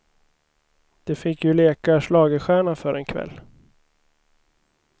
De fick ju leka schlagerstjärna för en kväll.